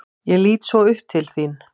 Ég lít svo upp til þín.